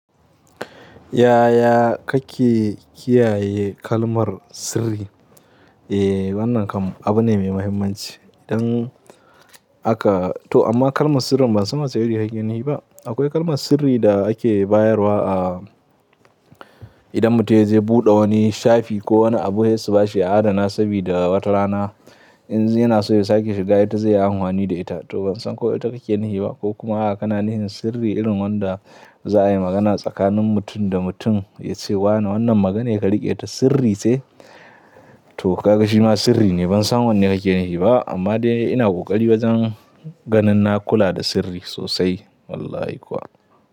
Yaya kake kiyaye kalmar sirri? Eh wannan kam abu ne mai mahimmanci. Idan aka to amma kalmar sirri ban san ma ta yi wani hakkin yi ba. Akwai kalmar sirri da ake bayarwa a idan mutum ya je ya buɗe wani shafi ko wani abu yace ba shi adana sabida wata rana in zai na so ya sake shiga ita zai yi angwani da ita. To ban san ko ita kake yi ne ba ko kuma aka na ni sirri irin wanda za a yi magana tsakanin mutum da mutum yace wa wannan maganar ka rike ta sirri sai to ka gashi ma sirri ne ban san wanne kake yi ne ba. Amma dai ina ƙoƙari wajen ganin na kula da sirri sosai wallahi kuwa.